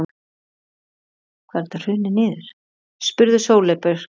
spurði Sóley Björk.